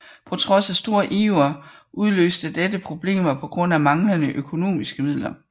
På trods af stor iver udløste dette problemer på grund af manglende økonomiske midler